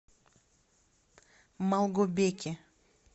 малгобеке